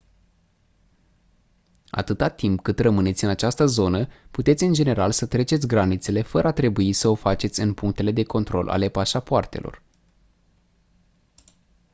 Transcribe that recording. atâta timp cât rămâneți în această zonă puteți în general să treceți granițele fără a trebui să o faceți în punctele de control ale pașapoartelor